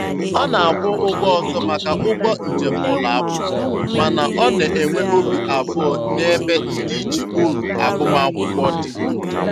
Ọ na-akwụ ụgwọ ọzọ maka ụgbọ njem ụlọakwụkwọ, mana ọ na-enwe obi abụọ n'ebe ndịiche uru agụmakwụkwọ dị.